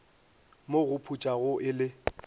mo go putsago e le